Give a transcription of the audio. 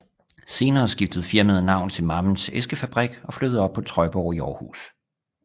Senere skiftede firmaet navn til Mammens Æskefabrik og flyttede op på Trøjborg i Århus